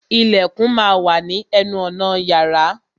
Ìlẹ̀kùn má a wà ní ní ẹnu ọ̀nà yàrá.